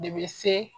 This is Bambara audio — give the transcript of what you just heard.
De be se